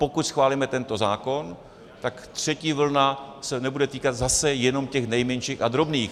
Pokud schválíme tento zákon, tak třetí vlna se nebude týkat zase jenom těch nejmenších a drobných.